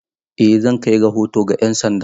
Eh zan kai rahoto ga 'yan sanda.